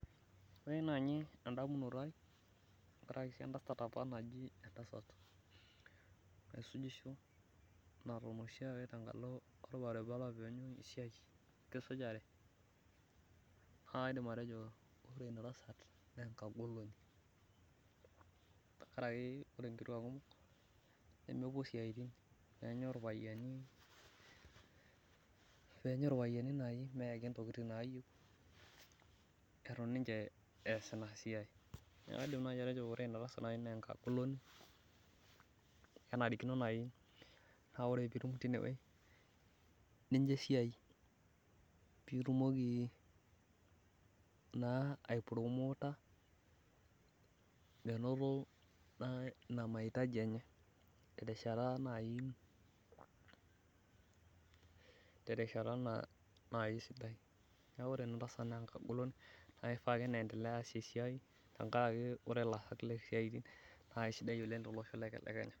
ore naaji edamunoto ai etaae apa entasat naisujisho naton oshi ake tengalo olbaribara naa enkagoloni, ore inkituak kumok nemepuo isiaitin ilpayiani eenyu , neeku ore inatasat kenarikino naaji nicho esiai ai promoota naa kishaa ake pee entelea aas ena siai.